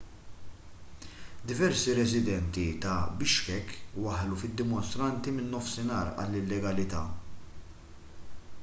diversi residenti ta' bishkek waħħlu fid-dimostranti min-nofsinhar għall-illegalità